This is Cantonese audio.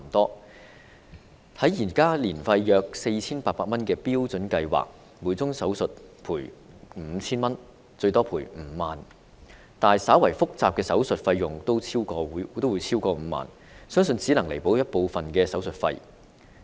根據現時年費約 4,800 元的標準計劃，每宗手術可獲賠償 5,000 元至最多5萬元，但稍為複雜的手術費用均超過5萬元，這個賠償額相信只能彌補部分手術費。